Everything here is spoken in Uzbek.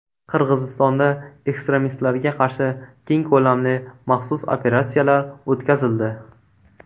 Qirg‘izistonda ekstremistlarga qarshi keng ko‘lamli maxsus operatsiyalar o‘tkazildi.